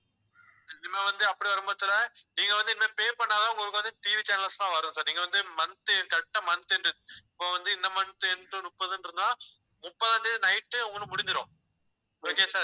இனிமே வந்து அப்படி வரும் பட்சத்தில நீங்க வந்து இனிமே pay பண்ணா தான் உங்களுக்கு வந்து TVchannels எல்லாம் வரும் sir நீங்க வந்து month, correct ஆ month end இப்போ வந்து இந்த month end முப்பதுன்னு இருந்தா முப்பதாம் தேதி night ஏ உங்களுக்கு முடிஞ்சிரும் okay sir